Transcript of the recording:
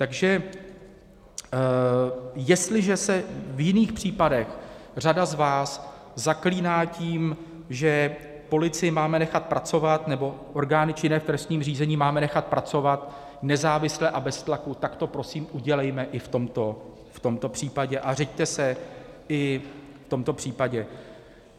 Takže jestliže se v jiných případech řada z vás zaklíná tím, že policii máme nechat pracovat nebo orgány činné v trestním řízení máme nechat pracovat nezávisle a bez tlaku, tak to prosím udělejme i v tomto případě a řiďte se i v tomto případě.